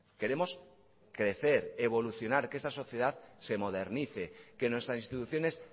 queremos crecer evolucionar que esta sociedad se modernice que nuestras instituciones